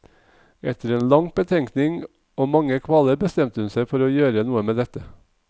Etter lang betenkning og mange kvaler bestemte hun seg for å gjøre noe med dette.